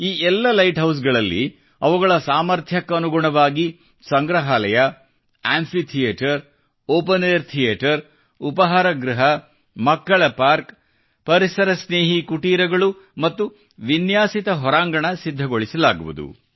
ಈ ಎಲ್ಲ ಲೈಟ್ ಹೌಸ್ಗಳಲ್ಲಿ ಅವುಗಳ ಸಾಮರ್ಥ್ಯಕ್ಕನುಗುಣವಾಗಿ ಸಂಗ್ರಹಾಲಯ amphitheatre open air theatre ಉಪಾಹಾರ ಗೃಹ ಮಕ್ಕಳ ಪಾರ್ಕ್ ಪರಿಸರ ಸ್ನೇಹಿ ಕುಟೀರಗಳು ಮತ್ತು ವಿನ್ಯಾಸಿತ ಹೊರಾಂಗಣ ಸಿದ್ಧಗೊಳಿಸಲಾಗುವುದು